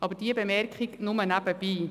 Aber diese Bemerkung ist nur nebenbei.